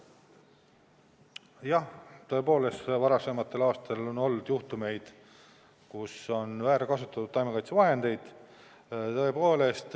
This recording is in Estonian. Jah, tõepoolest, varasematel aastatel on olnud juhtumeid, kus on väärkasutatud taimekaitsevahendeid.